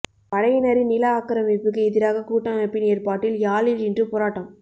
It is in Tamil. படையினரின் நில ஆக்கிரமிப்புக்கு எதிராக கூட்டமைப்பின் ஏற்பாட்டில் யாழில் இன்று போராட்டம்